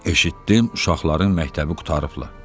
Eşitdim uşaqların məktəbi qurtarıblar.